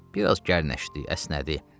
Bir az gərnəşdi, əsnədi.